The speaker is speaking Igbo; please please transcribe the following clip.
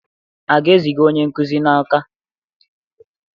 A ga-eziga onye nkuzi n'Awka?